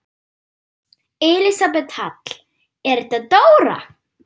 Elísabet Hall: Er þetta dóra?